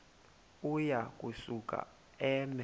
uya kusuka eme